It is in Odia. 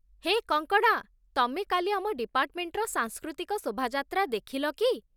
ହେ କଙ୍କଣା ! ତମେ କାଲି ଆମ ଡିପାର୍ଟମେଣ୍ଟର ସାଂସ୍କୃତିକ ଶୋଭାଯାତ୍ରା ଦେଖିଲ କି?